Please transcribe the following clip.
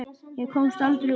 Ég komst aldrei út.